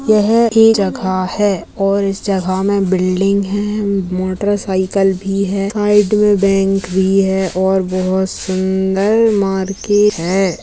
यह एक जगह है और इस जगह में बिल्डिंग है और मोटरसाइकिल भी है | साइड में बैंक भी है और सुन्दर मार्केट है |